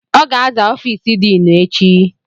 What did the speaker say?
Ọ ga-aza ọfiisi diinu echi.